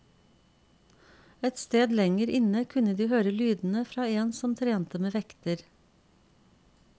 Et sted lenger inne kunne de høre lydene fra en som trente med vekter.